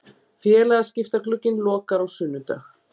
Félagaskiptaglugginn lokar á sunnudag.